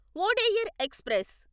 Wodeyar express